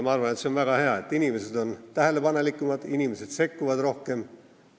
Ma arvan, et on väga hea, et inimesed on tähelepanelikumad ja sekkuvad rohkem.